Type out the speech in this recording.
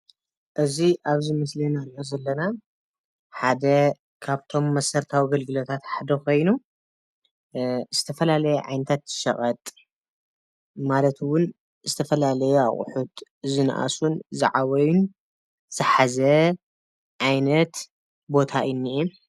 እዚ ኣብዚ ምስሊ እንርእዮ ዘለና ሐደ ካብቶም መሰረታዊ አገልግሎት ሓደ ኮይኑ ዝተፈላለየ ዓይነታት ሸቀጥ ማለት እውን ዝተፈላለየ ኣቁሕት ዝነአሱን ዝዓበዩን ዝሓዘ ዓይነት ቦታ እዩ እኒኤ።